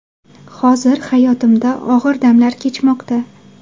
Hozir hayotimda og‘ir damlar kechmoqda.